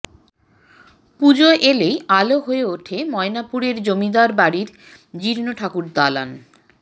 পুজোর এলেই আলো হয়ে ওঠে ময়নাপুরের জমিদার বাড়ির জীর্ণ ঠাকুরদালান